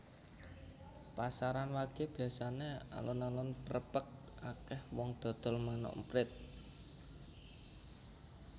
Pasaran wage biasane alun alun prepek akeh wong dodol manuk emprit